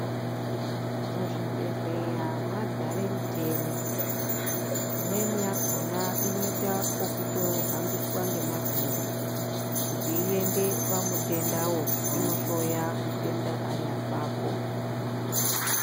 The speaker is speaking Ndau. Muzvibhedhleya madzare micheni, imweni yakona inoitwa vokutohambiswa ngemavhiri kuti iende pamutendavo inohloya pamutenda ari apapo.